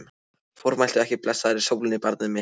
Formæltu ekki blessaðri sólinni, barnið mitt.